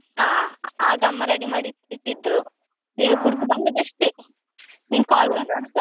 ಹಾ ಆಗ ಅಮ್ಮ ready ಮಾಡಿ ಇಟ್ಟಿದ್ರು, ಕುಡ್ದು ಬಂದದ್ದು ಅಷ್ಟೇ .